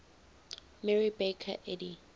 mary baker eddy